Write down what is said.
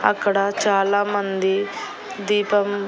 అక్కడ చాలామంది దీపం--